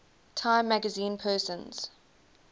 time magazine persons